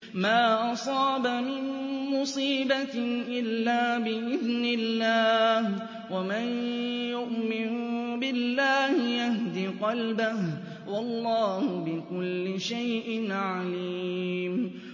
مَا أَصَابَ مِن مُّصِيبَةٍ إِلَّا بِإِذْنِ اللَّهِ ۗ وَمَن يُؤْمِن بِاللَّهِ يَهْدِ قَلْبَهُ ۚ وَاللَّهُ بِكُلِّ شَيْءٍ عَلِيمٌ